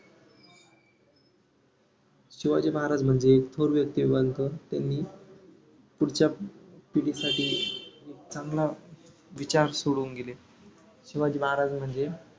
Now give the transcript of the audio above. शिवाजी महाराज म्हणजे थोर व्यक्तीवान त्यांनी पुढच्या पिढीसाठी चांगला विचार सोडून गेले. शिवाजी महाराज म्हणजे